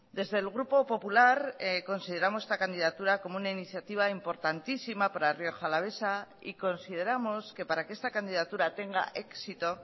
desde el grupo popular consideramos esta candidatura como una iniciativa importantísima para rioja alavesa y consideramos que para que esta candidatura tenga éxito